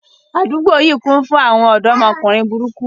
Àdúgbò yìí kún fún àwọn ọ̀dọ́mọkùnrin burúkú